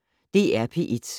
DR P1